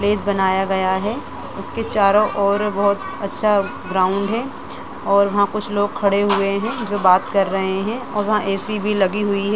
Race बनाया गया है उसके चारो और बहुत अच्छा ग्राउंड हैं और वहां पर कुछ लोग खड़े हुए हैं जो बात कर रहे और वहा ए.सी. भी लगी हुई हैं ।